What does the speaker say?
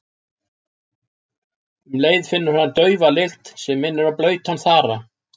Um leið finnur hann daufa lykt sem minnir á blautan þara.